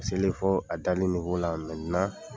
A selen fɔ a la